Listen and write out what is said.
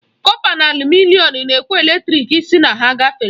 Kọpa na alumịnịọn na-ekwe eletrik sị na ha gafere.